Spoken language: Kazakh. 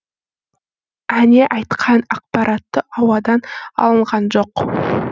әне айтқан ақпаратты ауадан алынған жоқ